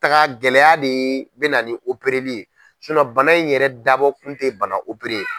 Taga gɛlɛya de bɛna na ni opereli ye bana in yɛrɛ dabɔ kun tɛ bana